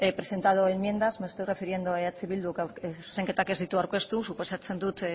presentado enmiendas me estoy refiriendo a eh bildu zuzenketak ez ditu aurkeztu suposatzen dut